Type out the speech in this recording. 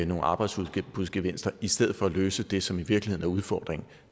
nogle arbejdsudbudsgevinster i stedet for at løse det som i virkeligheden er udfordringen